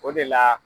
O de la